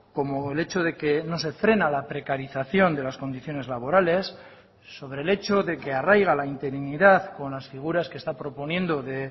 como el hecho de que no se frena la precarización de las condiciones laborales sobre el hecho de que arraiga la interinidad con las figuras que está proponiendo de